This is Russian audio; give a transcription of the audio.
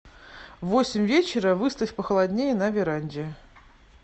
в восемь вечера выставь похолоднее на веранде